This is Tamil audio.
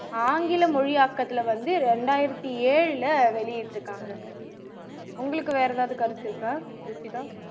ஆங்கில மொழியாக்கத்துல வந்து இரண்டாயிரத்து ஏழுல வெளியிட்டுருக்காங்க உங்களுக்கு வேற ஏதாவது கருத்து இருக்கா ருஷிதா